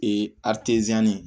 Ee